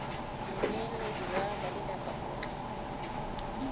mmueledi wa balelapa o tla